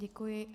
Děkuji.